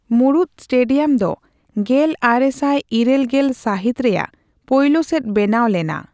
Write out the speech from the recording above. ᱢᱩᱬᱩᱫ ᱥᱴᱮᱰᱤᱭᱟᱢ ᱫᱚ ᱜᱮᱞ ᱟᱨᱮ ᱥᱟᱭ ᱤᱨᱟᱹᱞ ᱜᱮᱞ ᱥᱟᱹᱦᱤᱛ ᱨᱮᱭᱟᱜ ᱯᱳᱭᱞᱳ ᱥᱮᱫ ᱵᱮᱱᱟᱣ ᱞᱮᱱᱟ ᱾